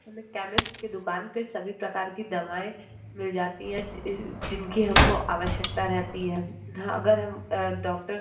हमें केमिस्ट की दुकान पे सभी प्रकार की दवाएं मिल जाती हैं जी-अ-जिनकी हमको आवश्कता रहती है। म्-ह-अगर हम अ डॉक्टर --